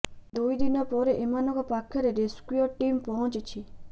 ଦୁଇ ଦିନ ପରେ ଏମାନଙ୍କ ପାଖରେ ରେସ୍କ୍ୟୁ ଟିମ୍ ପହଞ୍ଚିଛି